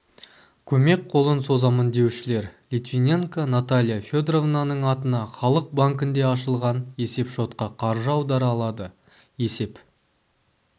көмек қолын созамын деушілер литвиненко наталья федоровнаның атына халық банкінде ашылған есепшотқа қаржы аудара алады есеп